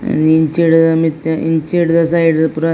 ಇಂಚಿಡ್ ಮಿತ್ತ್ ಇಂಚಿರ್ದ್ ಸೈಡ್ ಪೂರ.